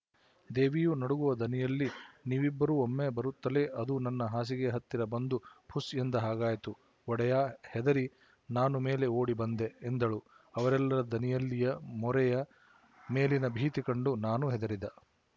ದೇವಿಯೂ ನಡುಗುವ ದನಿಯಲ್ಲಿ ನೀವಿಬ್ಬರೂ ಒಮ್ಮೆ ಬರುತ್ತಲೇ ಅದು ನನ್ನ ಹಾಸಿಗೆಯ ಹತ್ತಿರ ಬಂದು ಫುಸ್ ಎಂದ ಹಾಗಾಯ್ತು ಒಡೆಯಾ ಹೆದರಿ ನಾನೂ ಮೇಲೆ ಓಡಿ ಬಂದೆ ಎಂದಳು ಅವರೆಲ್ಲರ ದನಿಯಲ್ಲಿಯ ಮೋರೆಯ ಮೇಲಿನ ಭೀತಿ ಕಂಡು ನಾನು ಹೆದರಿದ